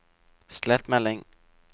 slett melding